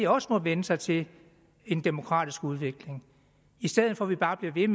også må vænne sig til en demokratisk udvikling i stedet for at vi bare bliver ved